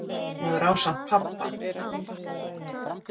Maður á samt pabba.